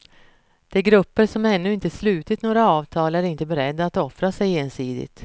De grupper som ännu inte slutit några avtal är inte beredda att offra sig ensidigt.